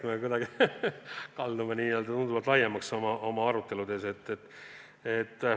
Me kuidagi kaldume oma aruteludes tunduvalt laiemale alale.